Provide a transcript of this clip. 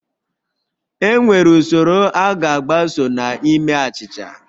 Enwere usoro a ga-agbaso na ime achịcha